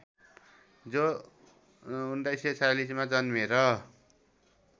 जो १९४६ मा जन्मेर